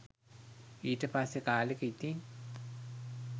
ඊට පස්සෙ කාලෙක ඉතින්